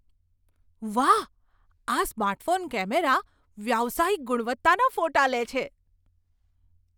વાહ! આ smartphone camera વ્યાવસાયિક ગુણવત્તાના ફોટા લે છે.